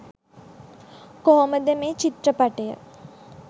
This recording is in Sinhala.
කොහොමද මේ චිත්‍රපටය